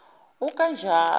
ukanjalo